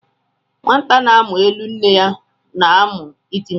Nwata na-amụ elu nne ya na-amu iti mkpu